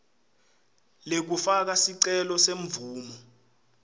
lekufaka sicelo semvumo